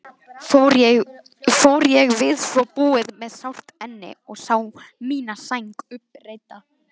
Fór ég við svo búið með sárt enni og sá mína sæng uppreidda.